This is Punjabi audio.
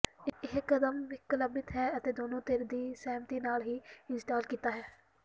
ਇਹ ਕਦਮ ਵਿਕਲਪਿਕ ਹੈ ਅਤੇ ਦੋਨੋ ਧਿਰ ਦੀ ਸਹਿਮਤੀ ਨਾਲ ਹੀ ਇੰਸਟਾਲ ਕੀਤਾ ਹੈ